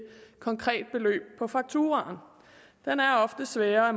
konkret beløb på fakturaen den er ofte sværere